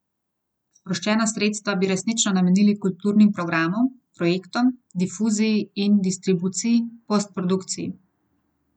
Sproščena sredstva bi resnično namenili kulturnim programom, projektom, difuziji in distribuciji, postprodukciji.